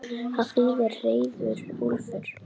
Það þýðir reiður úlfur.